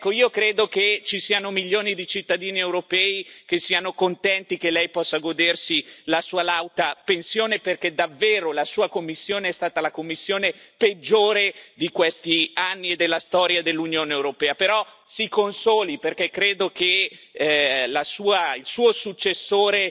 Ecco, io credo che ci siano milioni di cittadini europei che siano contenti che Lei possa godersi la Sua lauta pensione perché davvero la Sua Commissione è stata la Commissione peggiore di questi anni e della storia dell'Unione europea, però, Si consoli, perché credo che il Suo successore